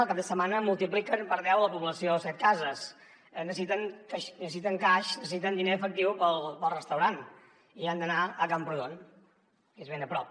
el cap de setmana multipliquen per deu la població de setcases necessiten cash necessiten diner efectiu pel restaurant i han d’anar a camprodon que és ben a prop